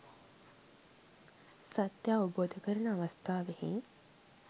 සත්‍ය අවබෝධ කරන අවස්ථාවෙහි